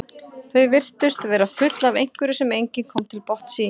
Þau virtust vera full af einhverju sem enginn komst til botns í.